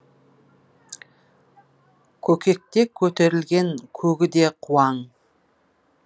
көкекте көтерілген көгі де қуаң